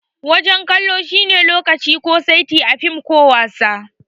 Wajen kallo shi ne lokaci ko saiti a fim ko wasa.